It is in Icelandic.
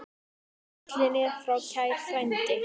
Fallinn er frá kær frændi.